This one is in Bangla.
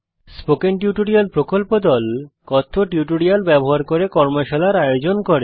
স্পোকেন টিউটোরিয়াল প্রকল্প দল কথ্য টিউটোরিয়াল ব্যবহার করে কর্মশালার আয়োজন করে